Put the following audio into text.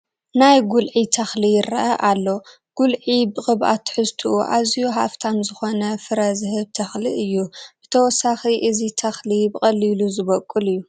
ናይ ጉልዒ ተኽሊ ይርአ ኣሎ፡፡ ጉልዒ ብቅብኣት ትሕዝቱኡ ኣዝዩ ሃፍታም ዝኾነ ፍረ ዝህብ ተኽሊ እዩ፡፡ ብተወሳኺ እዚ ተኽሊ ብቐሊሉ ዝበቑል እዩ፡፡